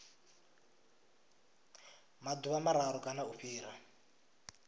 maḓuvha mararu kana u fhira